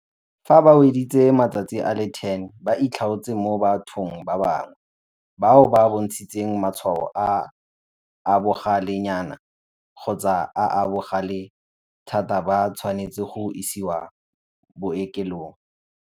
Fa ba weditse matsatsi a le 10 ba itlhaotse mo bathong ba bangwe. Bao ba bontshitseng matshwao a a bogalenyana kgotsa a a bogale thata ba tshwanetse go isiwa bookelong.